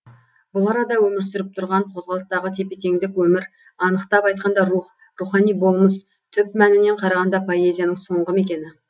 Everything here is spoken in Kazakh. бұл арада өмір сүріп тұрған қозғалыстағы тепе теңдік өмір анықтап айтқанда рух рухани болмыс түп мәнінен қарағанда поэзияның соңғы мекені